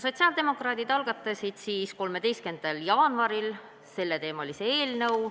Sotsiaaldemokraadid algatasid 13. jaanuaril selleteemalise eelnõu.